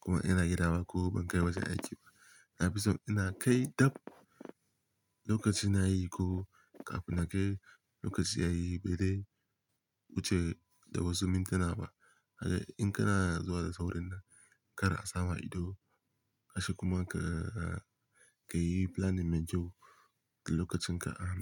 kuma ina gida ba ko ban kai wajen aiki ba. Na fi so ina kai dab lokacin yayi ko kafin na kai lokaci yayi bedei wuce da wasu mintuna ba. Kaga in kana zuwa da saurin nan, kar a sama ido, kace kuma ka, ka yi planning mai kyau da lokacin ka an.